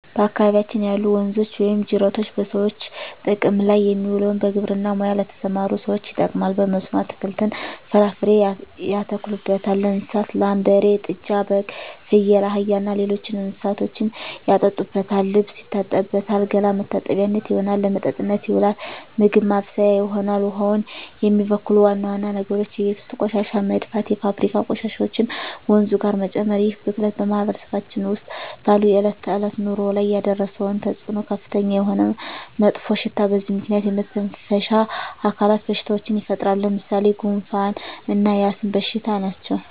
በአካባቢያችን ያሉ ወንዞች ወይም ጅረቶች በሰዎች ጥቅም ላይ የሚውለው በግብርና ሙያ ለተሠማሩ ሠዎች ይጠቅማል። በመስኖ አትክልትን፣ ፍራፍሬ ያተክሉበታል። ለእንስሳት ላም፣ በሬ፣ ጥጃ፣ በግ፣ ፍየል፣ አህያ እና ሌሎች እንስሶችን ያጠጡበታል፣ ልብስ ይታጠብበታል፣ ገላ መታጠቢያነት ይሆናል። ለመጠጥነት ይውላል፣ ምግብ ማብሠያ ይሆናል። ውሃውን የሚበክሉ ዋና ዋና ነገሮች የቤት ውስጥ ቆሻሻ መድፋት፣ የፋብሪካ ቆሻሾችን ወንዙ ጋር መጨመር ይህ ብክለት በማህበረሰባችን ውስጥ ባለው የዕለት ተዕለት ኑሮ ላይ ያደረሰው ተፅኖ ከፍተኛ የሆነ መጥፎሽታ በዚህ ምክንያት የመተነፈሻ አካል በሽታዎች ይፈጠራሉ። ለምሣሌ፦ ጉንፋ እና የአስም በሽታ ናቸው።